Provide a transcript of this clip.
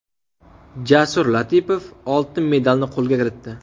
Jasur Latipov oltin medalni qo‘lga kiritdi.